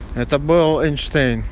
это был эйнштейн